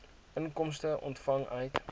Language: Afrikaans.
inkomste ontvang uit